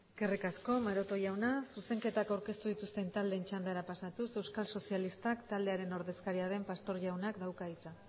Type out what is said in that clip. eskerrik asko maroto jauna zuzenketak aurkeztu dituzten taldeen txandara pasatuz euskal sozialistak taldearen ordezkaria den pastor jaunak dauka hitza